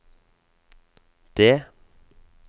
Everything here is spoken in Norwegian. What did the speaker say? det